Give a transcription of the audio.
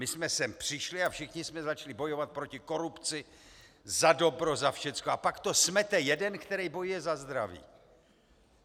My jsme sem přišli a všichni jsme začali bojovat proti korupci, za dobro, za všechno, a pak to smete jeden, který bojuje za zdraví.